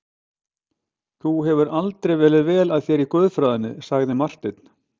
Þú hefur aldrei verið vel að þér í guðfræðinni, sagði Marteinn.